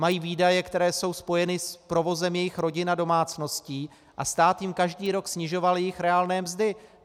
Mají výdaje, které jsou spojeny s provozem jejich rodin a domácností, a stát jim každý rok snižoval jejich reálné mzdy.